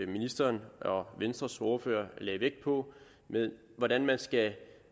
ministeren og venstres ordfører lagde vægt på med hvordan man skal